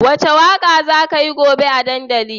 Wace waka za kayi gobe a dandali?